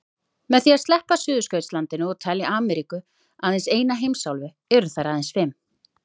Með því að sleppa Suðurskautslandinu og telja Ameríku aðeins eina heimsálfu eru þær aðeins fimm.